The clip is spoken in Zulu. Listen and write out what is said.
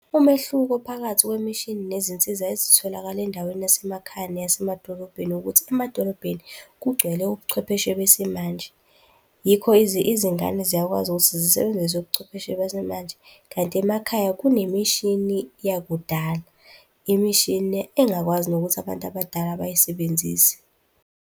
Umehluko phakathi kwemishini nezinsiza ezitholakala endaweni yasemakhaya neyasemadolobheni ukuthi, emadolobheni kugcwele ubuchwepheshe besimanje. Yikho izingane ziyakwazi ukuthi zisebenzise ubuchwepheshe besimanje. Kanti emakhaya kunemishini yakudala, imishini engakwazi nokuthi abantu abadala bayisebenzise.